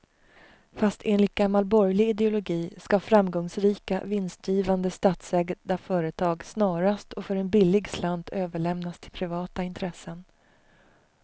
Fast enligt gammal borgerlig ideologi ska framgångsrika, vinstgivande statsägda företag snarast och för en billig slant överlämnas till privata intressen.